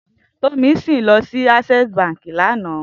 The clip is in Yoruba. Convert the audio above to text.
Tomisin lò si Asèsí bànkí lànã